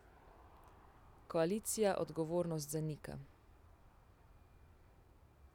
Koalicija odgovornost zanika.